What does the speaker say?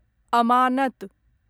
अमानत